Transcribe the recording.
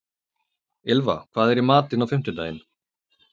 Ylfa, hvað er í matinn á fimmtudaginn?